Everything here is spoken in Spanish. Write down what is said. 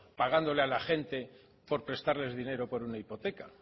pagándole a la gente por prestarles dinero por una hipoteca